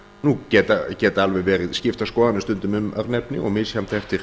nú geta alveg verið skiptar skoðanir stundum um örnefni og misjafnt eftir